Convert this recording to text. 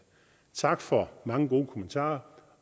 tak for mange gode kommentarer